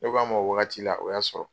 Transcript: Ne k'a ma o wagati la o y'a sɔrɔ